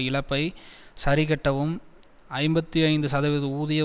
இழப்பை சரிக்கட்டவும் ஐம்பத்தி ஐந்து சதவீத ஊதிய